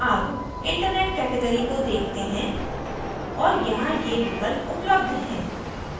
अब internet category को देखते हैं और यहाँ ये विकल्प उपलब्ध हैं